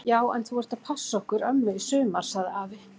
Já en þú ert að passa okkur ömmu í sumar! sagði afi.